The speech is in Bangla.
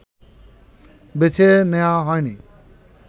বেছে নেয়া হয়নি